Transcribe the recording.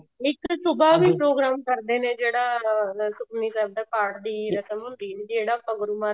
ਨਹੀਂ ਤਾਂ ਸੁਭਾਹ ਵੀ program ਕਰਦੇ ਨੇ ਜਿਹੜਾ ਸੁਖਮਨੀ ਸਾਹਿਬ ਦੇ ਪਾਠ ਦੀ ਰਸਮ ਹੁੰਦੀ ਹੈ ਜਿਹੜਾ ਆਪਾਂ ਗੁਰੂ ਮਹਾਰਾਜ